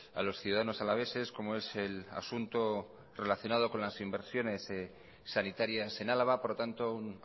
a los ciudadanos alaveses como es el asunto relacionado con las inversiones sanitarias en álava por lo tanto un